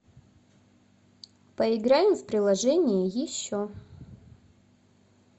поиграем в приложение еще